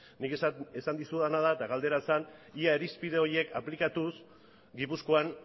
nik ezan dizudana da eta galdera zen ia irizpide horiek aplikatuz gipuzkoan